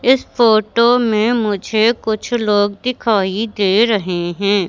इस फोटो में मुझे कुछ लोग दिखाई दे रहे हैं।